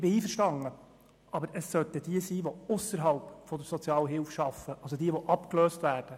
Ich bin damit einverstanden, aber es sollten diejenigen sein, die ausserhalb der Sozialhilfe arbeiten, also diejenigen, die abgelöst wurden.